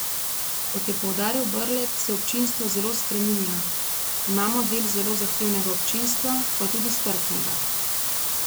Kot je poudaril Brlek, se občinstvo zelo spreminja: 'Imamo del zelo zahtevnega občinstva, pa tudi strpnega.